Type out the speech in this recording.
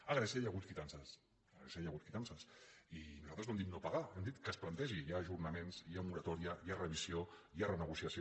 a grècia hi ha hagut quitances a grècia hi ha hagut quitances i nosaltres no hem dit no pagar hem dit que es plantegi hi ha ajornaments hi ha moratòria hi ha revisió hi ha renegociació